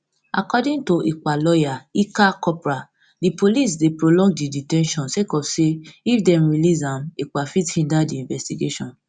according to ekpa lawyer ilkka kopra di police dey prolong di de ten tion sake of say if dem release am ekpa fit hinder di investigation